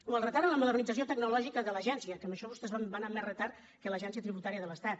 o el retard en la modernització tecnològica de l’agència que en això vostès van amb més retard que l’agència tributària de l’estat